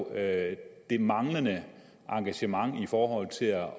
er jo det manglende engagement i forhold til at